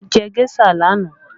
Mo jẹ géṣà lánàá